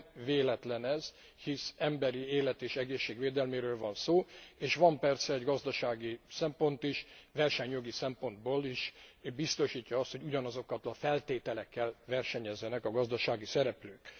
Nem véletlen ez, hiszen emberi élet és egészség védelméről van szó, és van persze egy gazdasági szempont is versenyjogi szempontból is biztosítja azt, hogy ugyanazokkal a feltételekkel versenyezzenek a gazdasági szereplők.